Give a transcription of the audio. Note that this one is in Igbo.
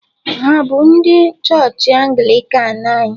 Hà bụ ndị chọọchị Anglịkan anyị?